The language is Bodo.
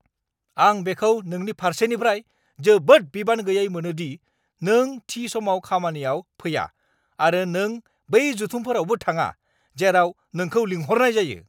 आं बेखौ नोंनि फारसेनिफ्राय जोबोद बिबान गैयै मोनो दि नों थि समाव खामानियाव फैया आरो नों बै जथुमफोरावबो थाङा, जेराव नोंखौ लिंहरनाय जायो!